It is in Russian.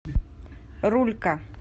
рулька